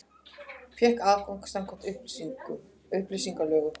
Fékk aðgang samkvæmt upplýsingalögum